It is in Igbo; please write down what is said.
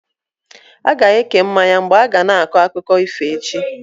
A ga-eke mmanya mgbe a ga na-akọ akụkọ ifo echi?